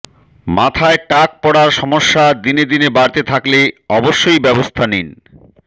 মাথায় টাক পড়ার সমস্যা দিনে দিনে বাড়তে থাকলে অবশ্যই ব্যবস্থা নিন